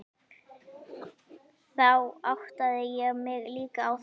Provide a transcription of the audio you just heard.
Þá áttaði ég mig líka á þögninni.